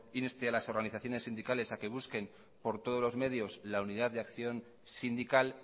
inste a las organizaciones sindicales a que busquen por todos los medios la unidad de acción sindical